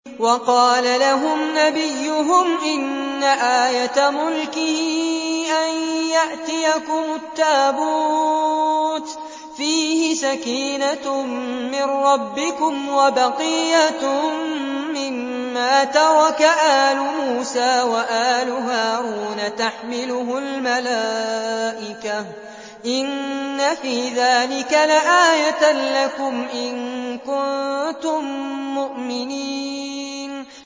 وَقَالَ لَهُمْ نَبِيُّهُمْ إِنَّ آيَةَ مُلْكِهِ أَن يَأْتِيَكُمُ التَّابُوتُ فِيهِ سَكِينَةٌ مِّن رَّبِّكُمْ وَبَقِيَّةٌ مِّمَّا تَرَكَ آلُ مُوسَىٰ وَآلُ هَارُونَ تَحْمِلُهُ الْمَلَائِكَةُ ۚ إِنَّ فِي ذَٰلِكَ لَآيَةً لَّكُمْ إِن كُنتُم مُّؤْمِنِينَ